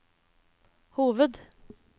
hoved